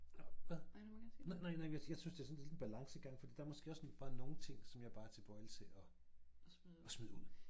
Og hvad nej nej nej men jeg synes det sådan lidt en balancegang fordi der måske også bare nogen ting som jeg bare er tilbøjelig til og og smide ud